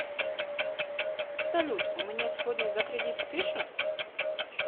салют у меня сегодня за кредит спишут